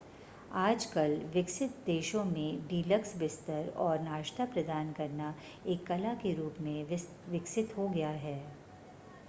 आजकल विकसित देशों में डीलक्स बिस्तर और नाश्ता प्रदान करना एक कला के रूप में विकसित हो गया है